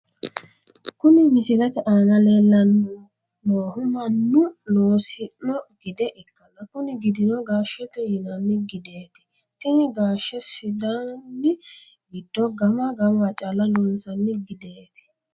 Kuni misilete aana leellanni noohu mannu loosino gide ikkanna kuni gidino gaashete yinanni gideeti, tini gaashe sidaani giddo gama gamawa calla loonsanni gideeti.